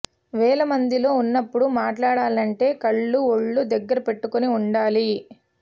వేల మందిలో ఉన్నపుడు మాట్లాడాలంటే కళ్లు ఒళ్లు దగ్గర పెట్టుకుని ఉండాలి